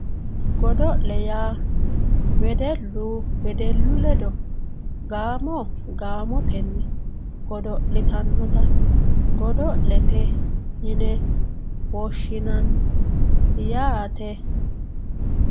godo'le yaa wedellu wedellu ledo gaamo gaamotenni godo'litannota godo'lete yine woshshinanni yaate.